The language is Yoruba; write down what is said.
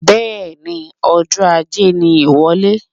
Bẹẹni Ọjọ ajé ní iwọlé